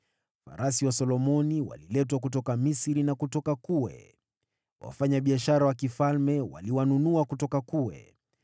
Farasi wa Solomoni waliletwa kutoka Misri na kutoka Kue. Wafanyabiashara wa mfalme waliwanunua kutoka Kue.